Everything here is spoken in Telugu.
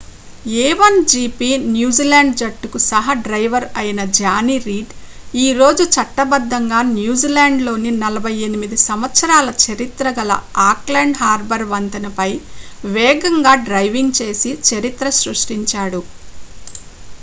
a1gp న్యూజిలాండ్ జట్టుకు సహ డ్రైవర్ అయిన జానీ రీడ్ ఈ రోజు చట్టబద్దంగా న్యూజిలాండ్లోని 48 సంవత్సరాల చరిత్ర గల ఆక్లాండ్ హార్బర్ వంతెనపై వేగంగా డ్రైవింగ్ చేసి చరిత్ర సృష్టించాడు